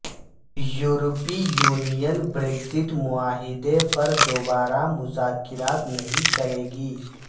یورپی union Brexit معاہدے پر دوبارہ مذاکرات نہیں کرے گی